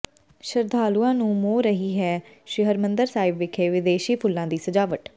ਸ਼ਰਧਾਲੂਆਂ ਨੂੰ ਮੋਹ ਰਹੀ ਹੈ ਸ੍ਰੀ ਹਰਿਮੰਦਰ ਸਾਹਿਬ ਵਿਖੇ ਵਿਦੇਸ਼ੀ ਫੁੱਲਾਂ ਦੀ ਸਜਾਵਟ